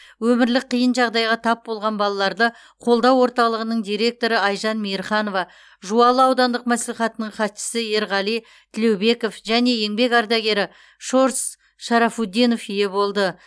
өмірлік қиын жағдайға тап болған балаларды қолдау орталығының директоры айжан мейірханова жуалы аудандық мәслихатының хатшысы ерғали тілеубеков және еңбек ардагері щорс шарафутдинов ие болды